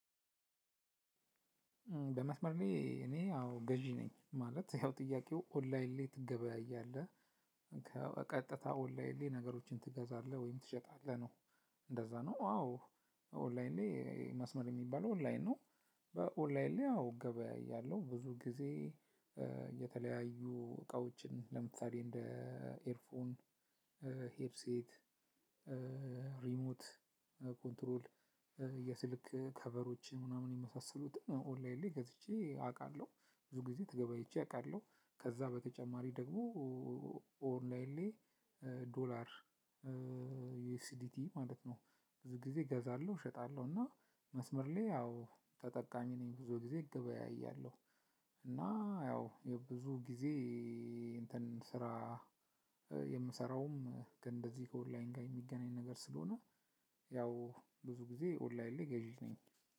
በመስመር ላይ እኔ አዎ ገዢ ነኝ ማለት ያው ጥያቄው ኦንላይን ላይ ትገበያያለህ ቀጥታ ኦንላይን ላይ ነገሮችን ትገዛለህ ወይም ትሸጣለህ ነው? እንደዛ ነው። አዎ ኦንላይን ላይ መስመር የሚባለው ኦንላይን ነው። በኦንላይን ላይ አዎ እገበያያለው ብዙ ጊዜ የተለያዩ እቃዎችን ለምሳሌ እንደ ኤርፎን ሄርሴት ሪሞት ኮንትሮል የስልክ ከቨሮችን ምናምን የመሳሰሉት ኦንላይን ላይ ገዝቼ አውቃለሁ። ብዙ ጊዜ ተገበይቼ አውቃለሁ። ከዛ በተጨማሪ ደግሞ ኦንላይን ላይ ዶላር ዩኤስዲቲ ማለት ነው። ብዙ ጊዜ እገዛለሁ እሸጣለሁ እና መስመር ላይ ያው ተጠቃሚ ነኝ ብዙ ጊዜ እገበያያለሁ። እና ያው የብዙ ጊዜ እንትን ስራ የምሰራውም ግን እንደዚህ ከኦንላይን ጋር የሚገናኝ ነገር ስለሆነ። ያው ብዙ ጊዜ ኦንላይን ላይ ገዢ ነኝ።